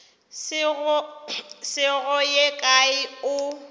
se go ye kae o